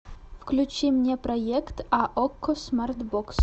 включи мне проект а окко смартбокс